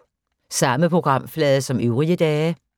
Samme programflade som øvrige dage